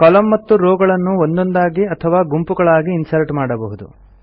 ಕಾಲಮ್ನ ಮತ್ತು ರೋವ್ ಗಳನ್ನು ಒಂದೊಂದಾಗಿ ಅಥವಾ ಗುಂಪುಗಳಾಗಿ ಇನ್ಸರ್ಟ್ ಮಾಡಬಹುದು